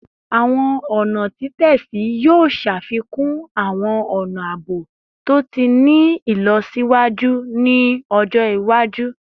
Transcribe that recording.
Awọn ọna titẹsi yoo ṣafikun awọn ọna aabo to ti ni ilọsiwaju ni ọjọ iwaju